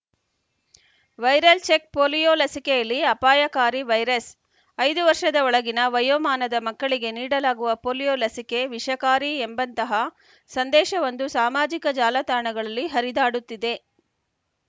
viral check polio ಲಸಿಕೆಯಲ್ಲಿ ಅಪಾಯಕಾರಿ virus ಐದು ವರ್ಷದ ಒಳಗಿನ ವಯೋಮಾನದ ಮಕ್ಕಳಿಗೆ ನೀಡಲಾಗುವ ಪೊಲಿಯೋ ಲಸಿಕೆ ವಿಷಕಾರಿ ಎಂಬಂತಹ ಸಂದೇಶವೊಂದು ಸಾಮಾಜಿಕ ಜಾಲತಾಣಗಳಲ್ಲಿ ಹರಿದಾಡುತ್ತಿದೆ